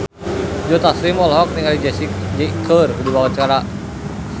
Joe Taslim olohok ningali Jessie J keur diwawancara